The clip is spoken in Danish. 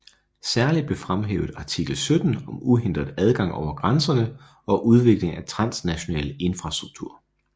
Særlig blev fremhævet artikel 17 om uhindret adgang over grænserne og udvikling af transnational infrastruktur